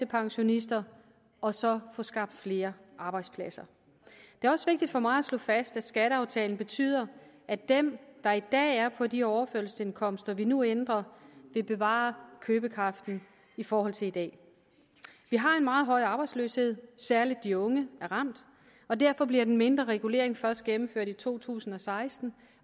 pensionister og så at få skabt flere arbejdspladser det er også vigtigt for mig at slå fast at skatteaftalen betyder at dem der i dag er på de overførselsindkomster vi nu ændrer vil bevare købekraft i forhold til i dag vi har en meget høj arbejdsløshed særlig de unge er ramt og derfor bliver den mindre regulering først gennemført i to tusind og seksten